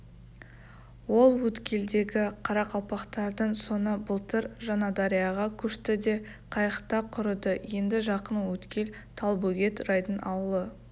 ол өткелдегі қарақалпақтардың соңы былтыр жаңадарияға көшті де қайықта құрыды енді жақын өткел талбөгет райдың ауылы